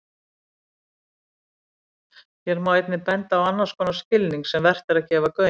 Hér má einnig benda á annars konar skilning sem vert er að gefa gaum.